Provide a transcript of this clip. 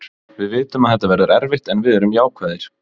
Við vitum að þetta verður erfitt en við erum jákvæðir.